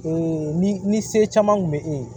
ni ni se caman kun bɛ e ye